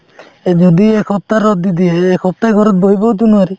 যদি এসপ্তাহ ৰদ দি দিয়ে এই এসপ্তাহয়ে ঘৰত বহিবওতো নোৱাৰি